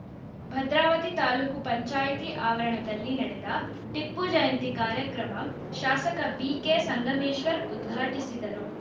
ಭದ್ರಾವತಿ ತಾಲೂಕು ಪಂಚಾಯಿತಿ ಆವರಣದಲ್ಲಿ ನಡೆದ ಟಿಪ್ಪು ಜಯಂತಿ ಕಾರ್ಯಕ್ರಮ ಶಾಸಕ ಬಿಕೆ ಸಂಗಮೇಶ್ವರ್‌ ಉದ್ಘಾಟಿಸಿದರು